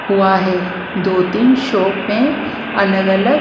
हुआ है दो-तीन शॉप में अलग-अलग ।